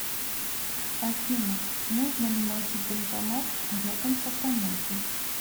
афина можно ли найти банкомат рядом с автомойкой